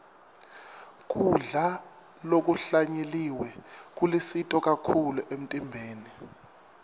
kudla lokuhlanyeliwe kulusito kakhulu emtimbeni